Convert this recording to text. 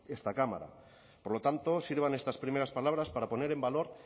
esta cámara por lo tanto sirvan estas primeras palabras para poner en valor